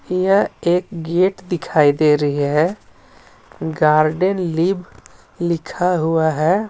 यह एक गेट दिखाई दे रही हैं गार्डन लीव लिखा हुआ है.